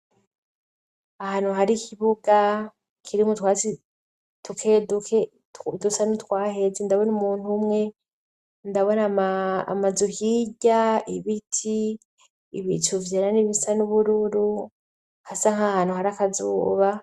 Ahantu hari ikibuga kiri mutwatsi duke dusa nutwaheze ndabona umuntu umwe, ndabone amazu hirya, ibiti, ibicu vyera n'ibisa n'ubururu hasa nk'ahantu hari akazuba.